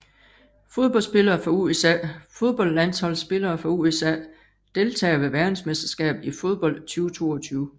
Fodboldspillere fra USA Fodboldlandsholdsspillere fra USA Deltagere ved verdensmesterskabet i fodbold 2022